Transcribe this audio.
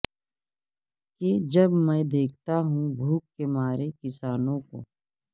کہ جب میں دیکھتا ہوں بھوک کے مارے کسانوں کو